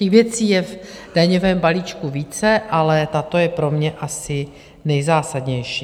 Těch věcí je v daňovém balíčku více, ale tato je pro mě asi nejzásadnější.